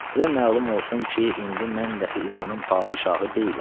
Sizə məlum olsun ki, indi mən daxi İranın padşahı deyiləm.